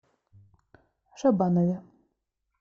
шабанове